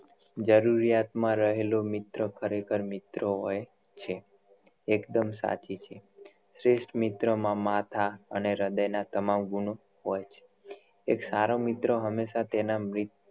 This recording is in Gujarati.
જરૂરિયાત માં રહેલો મિત્ર ખરેખર મિત્ર હોય છે એકદમ સાચી છે શ્રેષ્ઠ મિત્ર માં માથા અને હ્રદય ના તમામ ગુણો હોય છે એક સારો મિત્ર હમેશા તેના મરીત